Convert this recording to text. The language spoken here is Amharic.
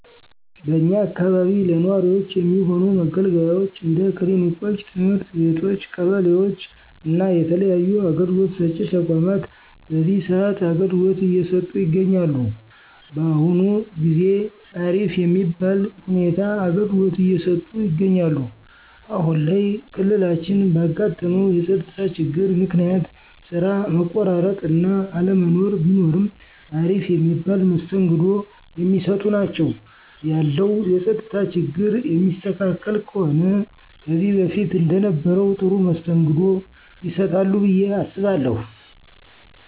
በእኛ አካባቢ ለነዋሪወች የሚሆኑ መገልገያወች እንደ ክሊኒኮች፣ ትምህርት ቤቶች ቀበሌወች እና የተለያዩ አገልግሎት ሰጪ ተቋማት በዚህ ሰአት አገልግሎት እየሰጠ ይገኛል። በአሁን ጊዜ አሪፍ የሚባል ሁኔታ አገልግሎት እየሰጡ ይገኛሉ። አሁን ላይ ክልላችን ባጋጠመው የፀጥታ ችግር ምክንያት ስራ መቆራረጥ እና አለመኖር ቢኖርም አሪፍ የሚባል መስተንግዶ የሚሰጡ ናቸው። ያለው የፀጥታ ችግር የሚስተካከል ከሆነ ከዚህ በፊት እንደነበረው ጥሩ መስተንግዶ ይሰጣሉ ብየ አስባለሁ።